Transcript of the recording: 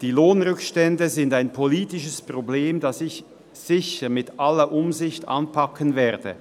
Die Lohnrückstände sind ein politisches Problem, das ich sicher mit aller Umsicht anpacken werde.